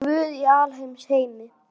Guð í alheims geimi.